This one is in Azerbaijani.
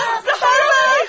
Zaharov!